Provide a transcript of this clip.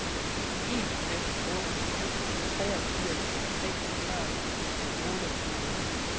en fem otte syv treogfirs seks hundrede og otteogtyve